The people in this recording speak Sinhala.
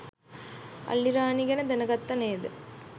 අල්ලිරාණි ගැන දැන ගත්තා නේද?